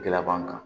Gɛlɛya b'an kan